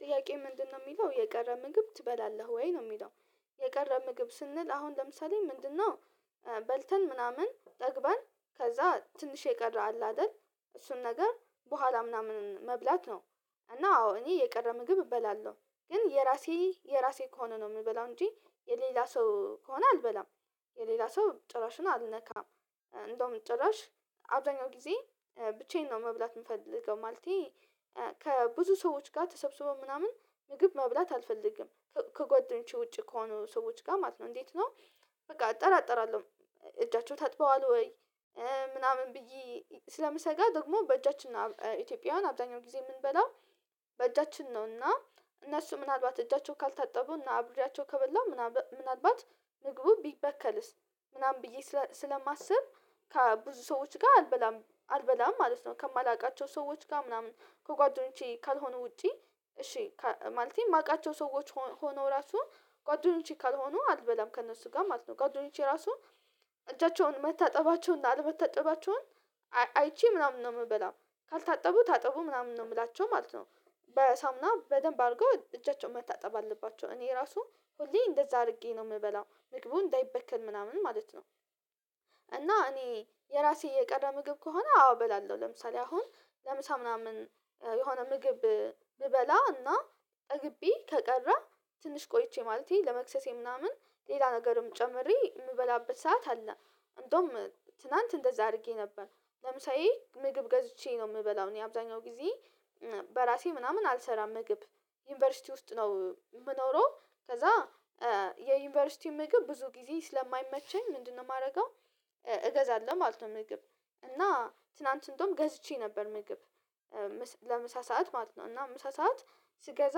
ጥያቄ ምንድነው የሚለው የቀረ ምግብ ትበላለህ ወይ ነው የሚለው? የቀረ ምግብ ስንል አሁን ለምሳሌ ምንድነው? በልተን ምናምን ጠግበን ከዛ ትንሽ የቀረ አለ አይደል እሱን ነገር በኋላ ምናምን መብላት ነው። እና አዎ እኔ የቀረ ምግብ እበላለሁ ግን የራሴ የራሴ ከሆነ ነው የምበላው እንጂ የሌላ ሰው ከሆነ አልበላም። የሌላ ሰው ጭራሽ ነው አልነካም። እንደውም ጭራሽ አብዛኛው ጊዜ ብቻዬን ነው መብላት የምፈልገው ማለቴ ከብዙ ሰዎች ጋር ተሰብስበው ምናምን ምግብ መብላት አልፈልግም። ከጓደኞቼ ውጪ ከሆኑ ሰዎች ጋር ማለት ነው እንዴት ነው? በቃ እጠራጠራለሁ። እጃቸው ታጥበዋል ወይ? ምናምን ብዬ ስለምሰጋ ደግሞ በእጃችን ኢትዮጵያውያን አብዛኛው ጊዜ የምንበላው በእጃችን ነው እና እነሱ ምናልባት እጃቸውን ካልታጠቡ እና አብሪያቸው ከበላሁ ምናልባን ምናልባት ምግቡ ቢበከልስ ምናምን ብዬ ስለማስብ ከብዙ ሰዎች ጋር አልበላም አልበላም ማለት ነው። ከማላውቃቸው ሰዎች ጋር ምናምን ከጓደኞቼ ካልሆኑ ውጪ እሺ ማለቴ የማውቃቸው ሰዎች ሆኖ ራሱ ጓደኞቼ ካልሆኑ አልበላም ከእነሱ ጋር ማለት ነው ጓደኞቼ ራሱ እጃቸውን መታጠባቸውን አልመታጠባቸውን አይቼ ምናምን ነው የምበላው ካልታጠቡ ታጠቡ ምናምን ነው የምላቸው ማለት ነው። በሳምና በደንብ አድርገው እጃቸውን መታጠብ አለባቸው እኔ ራሱ ሁሌ እንደዛ አድርጌ ነው የምበላው ምግቡ እንዳይበከል ምናምን ማለት ነው። እና እኔ የራሴ የቀረ ምግብ ከሆነ አዎ እበላለሁ ለምሳሌ አሁን ለምሳ ምናምን የሆነ ምግብ ብበላ እና ጠግቢ ከቀረ ትንሽ ቆይቼ ማለቴ ለመክሰሴ ምናምን ሌላ ነገርም ጨምሬ የምበላበት ሰዓት አለ። እንደውም ትላንት እንደዛ አድርጌ ነበር ለምሳዬ ምግብ ገዝቼ ነው የምበላው እኔ አብዛኛው ጊዜ በራሴ ምናምን አልሰራም ምግብ ዩኒቨርሲቲ ውስጥ ነው የምኖረው ከዛ የዩኒቨርሲቲው ምግብ ብዙ ጊዜ ስለማይመቸኝ ምንድነው የማደርገው? እገዛለሁ ማለት ነው። ምግብ እና ትናንት እንደውም ገዝቼ ነበር ምግብ ለምሳ ሰዓት ማለት ነው እና ምሳ ሰዓት ስገዛ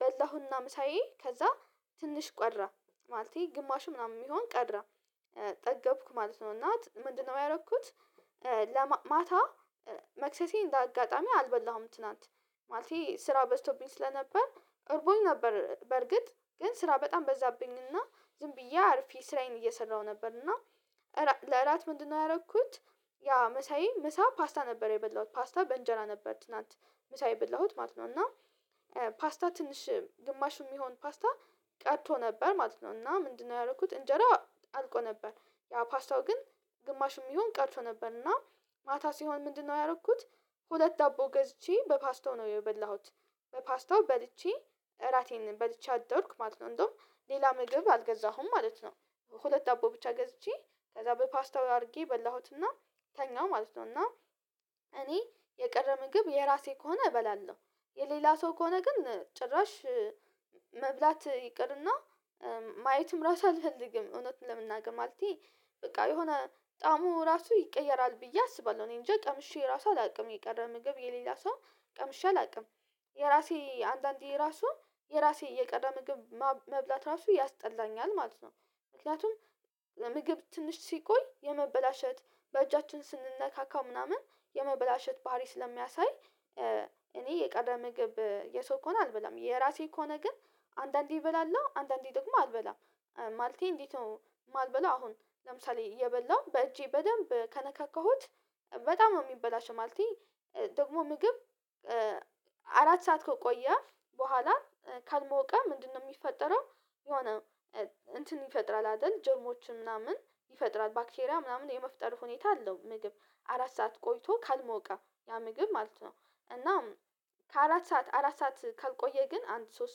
በላሁና ምሳዬን ከዛ ትንሽ ቀረ ማለቴ ግማሽ ምናምን ሚሆን ቀረ ጠገብኩ ማለት ነው። እና ምንድነው ያደረኩት? ለማታ መክሰሴን እንደ አጋጣሚ አልበላሁም ትላንት ማለቴ ስራ በዝቶብኝ ስለነበር እርቦኝ ነበር በርግጥ ግን ስራ በጣም በዛብኝና ዝም ብዬ አርፊ ስራዬን እየሰራሁ ነበርና ለእራት ምንድነው ያደረኩት? ያ ማሳይን መሳ ፓስታ ነበር የበላሁት ፓስታ በእንጀራ ነበር ትናንት መሳ የበላሁት ማለት ነው። እና ፓስታ ትንሽ ግማሽ የሚሆን ፓስታ ቀርቶ ነበር ማለት ነው እና ምንድነው ያደረኩት እንጀራ አልቆ ነበር። ያ ፓስታው ግን ግማሽ የሚሆን ቀርቶ ነበር እና ማታ ሲሆን ምንድነው ያደረኩት? ሁለት ዳቦ ገዝቼ በፓስታው ነው የበላሁት በፓስታው በልቼ እራቴን በልቼ አደርኩ ማለት ነው እንደውም ሌላ ምግብ አልገዛሁም ማለት ነው። ሁለት ዳቦ ብቻ ገዝቼ ከዛ በፓስታው አድርጌ በላሁትና ተኛሁ ማለት ነውና። እኔ የቀረ ምግብ የራሴ ከሆነ እበላለሁ የሌላ ሰው ከሆነ ግን ጭራሽ መብላት ይቅርና ማየትም ራስ አልፈልግም እውነትን ለመናገር ማለቴ። በቃ የሆነ ጣሙ ራሱ ይቀየራል ብዬ አስባለሁ እኔ እንጃ ቀምሼ ራሱ አላውቅም የቀረ ምግብ የሌላ ሰው ቀምሻ አላውቅም የራሴ አንዳንዴ የራሱ የራሴ የቀረ ምግብ መብላት ራሱ ያስጠላኛል ማለት ነው። ምክንያቱም ምግብ ትንሽ ሲቆይ የመበላሸት በእጃችን ስንነካካው ምናምን የመበላሸት ባህሪ ስለሚያሳይ እኔ የቀረ ምግብ የሰው ከሆነ አልበላም የራሴ ከሆነ ግን አንዳንዴ እበላለሁ አንዳንዴ ደግሞ አልበላም ማለቴ እንዲት ነው። ማልበላው አሁን ለምሳሌ እየበላው በእጄ በደንብ ከነካካሁት በጣም ነው የሚበላሸው ማለቴ ደግሞ ምግብ አራት ሰዓት ከቆየ በኋላ ካልሞቀ ምንድነው የሚፈጠረው? የሆነ እንትን ይፈጥራል አይደል ጀርሞችን ምናምን ይፈጥራል ባክትሪያ ምናምን የመፍጠር ሁኔታ አለው ምግብ አራት ሰዓት ቆይቶ ካልሞቀ ያ ምግብ ማለት ነው። እናም ከአራት ሰዓት አራት ሰዓት ካልቆየ ግን አንድ ሶስት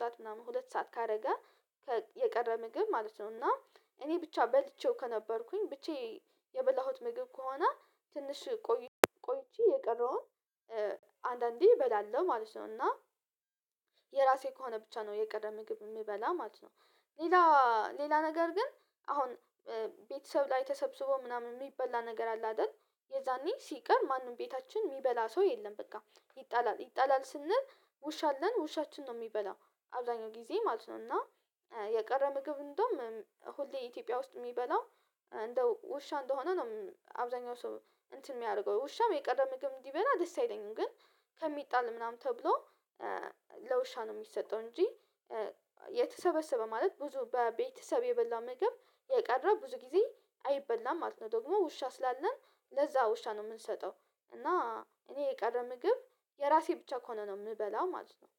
ሰዓት ምናምን ሁለት ሰዓት ካደረገ የቀረ ምግብ ማለት ነው እና እኔ ብቻ በልቼው ከነበርኩኝ ብቻ የበላሁት ምግብ ከሆነ ትንሽ ቆይ ቆይቼ የቀረውን አንዳንዴ እበላለሁ ማለት ነው እና የራሴ ከሆነ ብቻ ነው የቀረ ምግብ ምበላው ማለት ነው። ሌላ ሌላ ነገር ግን አሁን ቤተሰብ ላይ ተሰብስቦ ምናምን የሚበላ ነገር አለ አይደል? የዛኔ ሲቀር ማንም ቤታችን የሚበላ ሰው የለም በቃ ይጣላል ይጣላል ስንል ውሻ አለን ውሻችን ነው የሚበላው አብዛኛው ጊዜ ማለት ነው። እና የቀረ ምግብ እንደውም ሆሌ ኢትዮጵያ ውስጥ የሚበላው እንደ ውሻ እንደሆነ ነው አብዛኛው ሰው እንትን የሚያደርገው ውሻም የቀረ ምግብ እንዲበላ ደስ አይለኝም። ግን ከሚጣል ምናምን ተብሎ ለውሻ ነው የሚሰጠው እንጂ የተሰበሰበ ማለት ብዙ በቤተሰብ የበላ ምግብ የቀረ ብዙ ጊዜ አይበላም ማለት ነው። ደግሞ ውሻ ስላለን ለዛ ውሻ ነው የምንሰጠው እና እኔ የቀረ ምግብ የራሴ ብቻ ከሆነ ነው የምበላው ማለት ነው።